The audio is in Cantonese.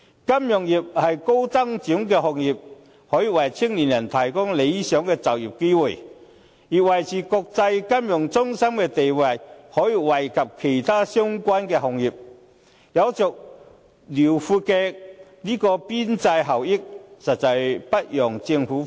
金融業是高增值的行業，可以為青年人提供理想的就業機會，而維持國際金融中心地位也可以惠及其他相關的行業，有着遼闊的邊際效益，實在不容政府忽視。